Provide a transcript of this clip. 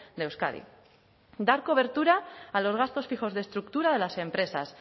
de euskadi dar cobertura a los gastos fijos de estructura de las empresas